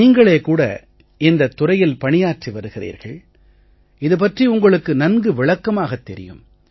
நீங்களே கூட இந்தத் துறையில் பணியாற்றி வருகிறீர்கள் இது பற்றி உங்களுக்கு நன்கு விளக்கமாகத் தெரியும்